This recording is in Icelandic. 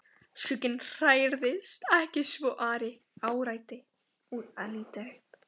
Skugginn hrærðist ekki svo Ari áræddi að líta upp.